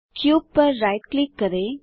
cube पर right click करें